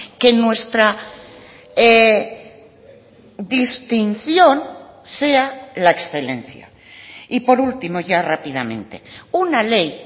que nuestra distinción sea la excelencia y por último ya rápidamente una ley